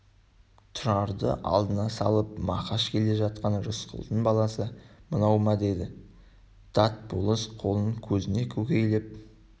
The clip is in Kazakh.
тұрарды алдына салып мақаш келе жатқан рысқұлдың баласы мынау ма деді дат болыс қолын көзіне көлегейлеп